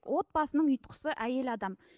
отбасының ұйытқысы әйел адам